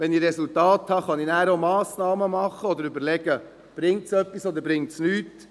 Wenn ich Resultate habe, kann ich auch Massnahmen ergreifen oder überlegen, ob es etwas bringt oder nicht.